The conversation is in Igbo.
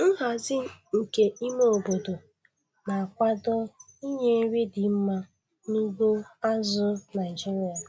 Nhazi nke ime obodo na-akwado inye nri dị mma n'ugbo azụ̀ Naịjiria.